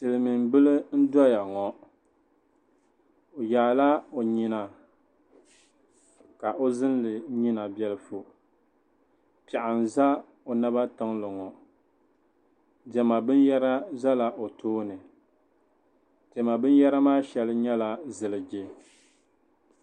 Silimiin bila n doya ŋɔ o yaala o yina ka o zinli yina bɛlifu piɛɣu n za o naba tiŋli ŋɔ dɛma biniyara zala o tooni dɛma binyɛra maa shɛli nyɛla ziliji.